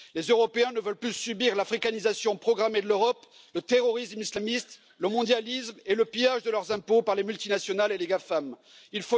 Les Européens ne veulent plus subir l'africanisation programmée de l'Europe, le terrorisme islamiste, le mondialisme et le pillage de leurs impôts par les multinationales et les GAFAM Il